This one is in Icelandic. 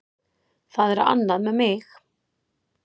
Það er annað með mig.